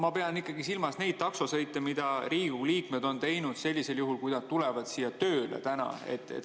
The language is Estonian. Ma pean ikkagi silmas neid taksosõite, mida Riigikogu liikmed on teinud sellisel juhul, kui nad on tulnud täna siia tööle.